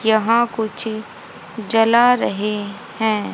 यहां कुछ जला रहे हैं।